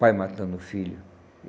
Pai matando filho.